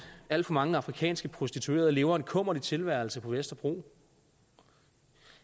at alt for mange afrikanske prostituerede lever en kummerlig tilværelse på vesterbro